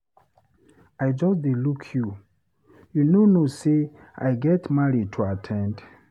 I just dey look you. You no know, say I get marriage to at ten d?